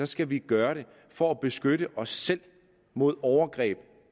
skal vi gøre det for at beskytte os selv mod overgreb